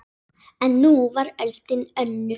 En nú var öldin önnur.